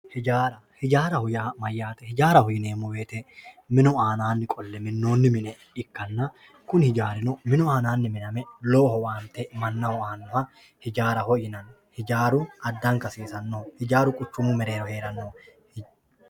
Ijjara, ijjaaraho yaa mayate ijjaaraho yineemo woyite minu aananni qole minonni mine ikkana kuni ijjaarino minu aananni miname lowo owaante manaho aanoha ijjaaraho yinanni, ijjaaru adanka hasisanno ijjaaru quchumu mereerro heerenno